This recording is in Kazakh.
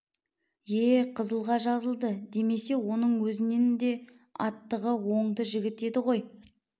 ие қызылға жазылды демесе оның өзінін де аттығы оңды жігіт еді ғой